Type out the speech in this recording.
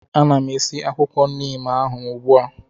Ana m esi akwụkwọ neem ahụ ugbu a